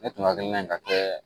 Ne tun hakilina in ka kɛ